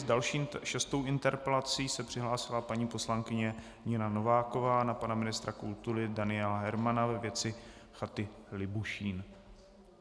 S další šestou interpelací se přihlásila paní poslankyně Nina Nováková na pana ministra kultury Daniela Hermana ve věci chaty Libušín.